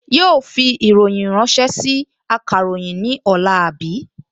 Yóò fi ìròyìn ránṣẹ́ sí akàròyìn ní ọ̀la, àbí?